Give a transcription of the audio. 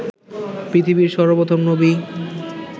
পৃথিবীর সর্বপ্রথম নবী